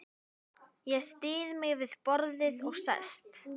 Ég styð mig við borðið og sest.